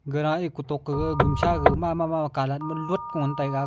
gara katok gaga gumsha gaga mama colat ma lot ka ngan taiga.